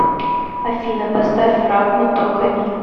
афина поставь фрагма тока ми